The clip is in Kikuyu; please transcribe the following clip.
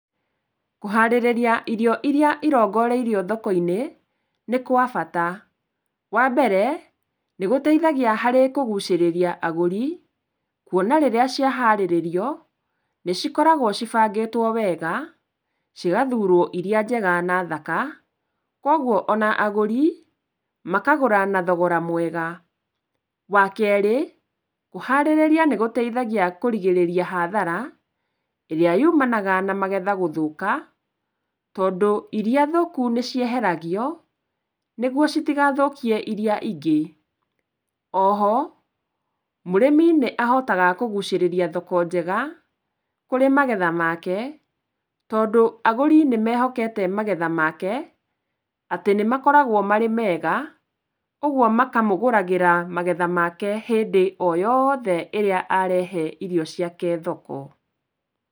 Kũharĩrĩria irio iria irongoreirio thoko-inĩ nĩ kwa bata. Wambere, nĩgũteithagia harĩ kũgucĩrĩria agũri, kwona rĩrĩa ciaharĩrĩrio nĩ cikoragwo cibangĩtwo wega, cĩgathurwo iria njega na thaka kogwo ona agũri makagũra na thogora mwega. Wakerĩ, kũharĩrĩria nĩ gũteithagia kũrigĩrĩria hathara ĩrĩa yumanaga na magetha gũthũka, tondũ iria thũku nĩcieheragio nĩgwo citigathũkie iria ingĩ. Oho mũrĩmi nĩahotaga kũgucĩrĩria thoko njega kũrĩ magetha make tondũ agũri nĩmehokete magetha make atĩ nĩ makoragwo marĩ mega, ũgwo makamũgũragĩra magetha make hĩndĩ o yothe ĩrĩa arehe irio ciake thoko.